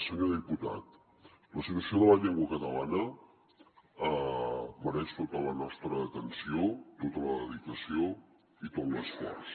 senyor diputat la situació de la llengua catalana mereix tota la nostra atenció tota la dedicació i tot l’esforç